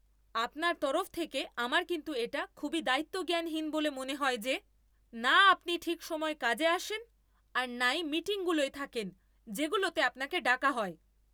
আপনার তরফ থেকে আমার কিন্তু এটা খুবই দায়িত্বজ্ঞানহীন বলে মনে হয় যে, না আপনি ঠিক সময় কাজে আসেন আর না ই মিটিংগুলোয় থাকেন যেগুলোতে আপনাকে ডাকা হয়।